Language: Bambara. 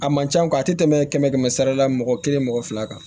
A man ca a tɛ tɛmɛ kɛmɛ kɛmɛ sara la mɔgɔ kelen mɔgɔ fila kan